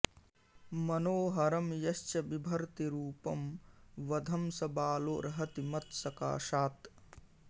मनोहरं यश्च बिभर्ति रूपं वधं स बालोऽर्हति मत्सकाशात्